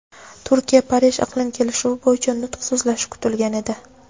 Turkiya-Parij iqlim kelishuvi bo‘yicha nutq so‘zlashi kutilgan edi.